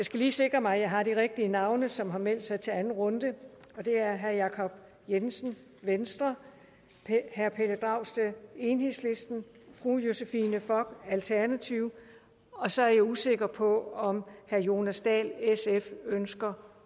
skal lige sikre mig at jeg har de rigtige navne som har meldt sig til anden runde det er herre jacob jensen venstre herre pelle dragsted enhedslisten fru josephine fock alternativet og så er jeg usikker på om herre jonas dahl sf ønsker